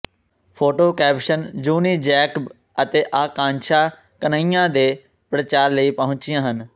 photo caption ਜੂਨੀ Jacob ਅਤੇ ਆਕਾਂਸ਼ਾ ਕਨ੍ਹੱਈਆ ਦੇ ਪ੍ਰਚਾਰ ਲਈ ਪਹੁੰਚੀਆਂ ਹਨ